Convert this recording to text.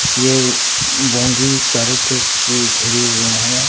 ये बाउंड्री चारों तरफ से घेरे हुए है।